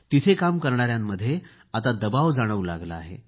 तिथे काम करणाऱ्यांकमध्ये आता दबाव जाणवू लागला आहे